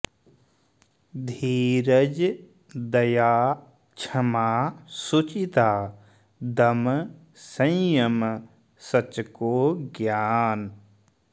धीरज दया क्षमा शुचिता दम संयम सच को ज्ञान